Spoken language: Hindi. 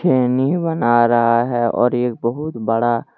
खैनी बना रहा है और एक बहुत बड़ा--